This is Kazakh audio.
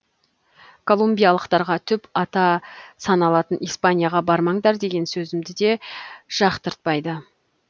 колумбиялықтарға түп ата саналатын испанияға бармаңдар деген сөзімді де жақтыртпайды